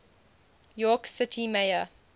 york city mayor